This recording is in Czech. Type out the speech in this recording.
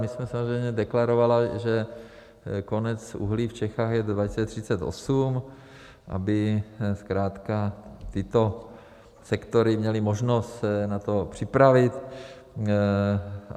My jsme samozřejmě deklarovali, že konec uhlí v Čechách je 2038, aby zkrátka tyto sektory měly možnost se na to připravit.